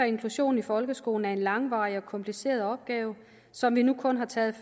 inklusion i folkeskolen er en langvarig og kompliceret opgave som vi nu kun har taget